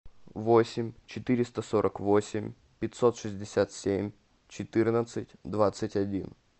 восемь четыреста сорок восемь пятьсот шестьдесят семь четырнадцать двадцать один